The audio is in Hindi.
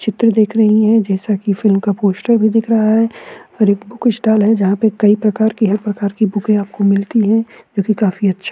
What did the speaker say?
चित्र दिख रही हैं जैसा की फिल्म का पोस्टर भी दिख रहा है और एक बुक स्टाल है जहां पे कई प्रकार की हर प्रकार की बुकें आपको मिलती हैं जो कि काफी अच्छी --